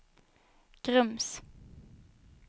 Grums